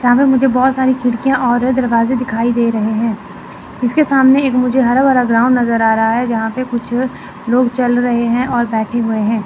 यहां पे मुझे बहुत सारी खिड़कियां और दरवाजे दिखाई दे रहे हैं इसके सामने एक मुझे हरा भरा ग्राउंड नजर आ रहा है यहां पे कुछ लोग चल रहे हैं और बैठे हुए हैं।